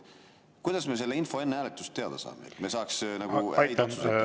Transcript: Kuidas me selle info enne hääletust teada saame, et me saaks nagu õige otsuse teha.